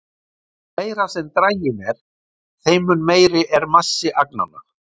Því meiri sem draginn er, þeim mun meiri er massi agnanna.